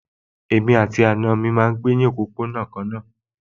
Èmi àti àwọn àna mi náà ń gbé ní òpópónà kan náà